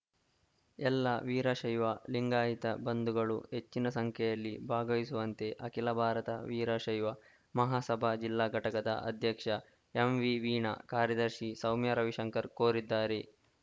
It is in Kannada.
ಎಲ್ಲ ವೀರಶೈವ ಲಿಂಗಾಯಿತ ಬಂಧುಗಳು ಹೆಚ್ಚಿನ ಸಂಖ್ಯೆಯಲ್ಲಿ ಭಾಗವಹಿಸುವಂತೆ ಅಖಿಲ ಭಾರತ ವೀರಶೈವ ಮಹಾಸಭಾ ಜಿಲ್ಲಾ ಘಟಕದ ಅಧ್ಯಕ್ಷ ಎಂವಿವೀಣ ಕಾರ್ಯದರ್ಶಿ ಸೌಮ್ಯ ರವಿಶಂಕರ್‌ ಕೋರಿದ್ದಾರೆ